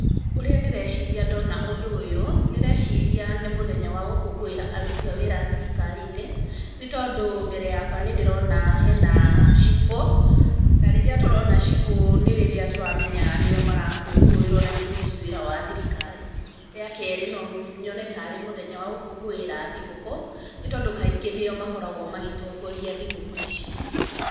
Ũrĩa ndĩreciria ndona ũndũ ũyũ, ndĩreciria nĩ mũthenya wa gũkũngũĩra thirikari-inĩ nĩ tondũ mbere yakwa nĩ ndĩrona hena cibũ na rĩrĩa tũrona cibũ nĩ rĩrĩa tũramenya nĩo marakũngũĩrwo na nĩ mũruti wĩra wa thirikari, rĩakerĩ no nyone tarĩ mũthenya wa gũkũnguĩra thigũkũ nĩ tondũ kaingĩ nĩo makoragwo magĩtongoria thigũkũũ ici.